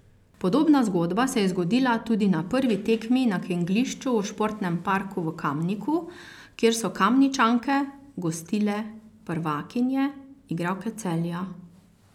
Podobna zgodba se je zgodila tudi na prvi tekmi na kegljišču v športnem parku v Kamniku, kjer so Kamničanke gostile prvakinje, igralke Celja.